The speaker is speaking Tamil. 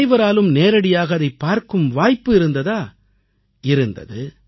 அனைவராலும் நேரடியாக அதைப் பார்க்கும் வாய்ப்பு இருந்ததா முடிந்தது